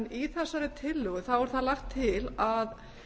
í þessari tillögu þá er það lagt til að